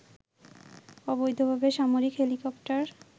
অবৈধভাবে সামরিক হেলিকপ্টার